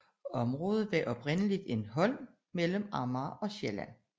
Området var oprindeligt en holm mellem Amager og Sjælland